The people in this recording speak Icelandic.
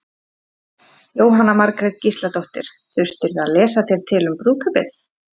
Jóhanna Margrét Gísladóttir: Þurftirðu að lesa þér til um brúðkaupið?